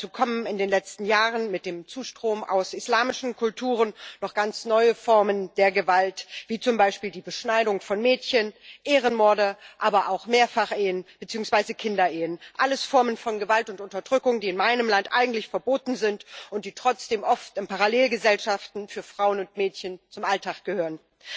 Dazu kommen in den letzten Jahren mit dem Zustrom aus islamischen Kulturen noch ganz neue Formen der Gewalt, wie zum Beispiel die Beschneidung von Mädchen, Ehrenmorde, aber auch Mehrfachehen beziehungsweise Kinderehen alles Formen von Gewalt und Unterdrückung, die in meinem Land eigentlich verboten sind und die trotzdem oft in Parallelgesellschaften für Frauen und Mädchen zum Alltag gehören.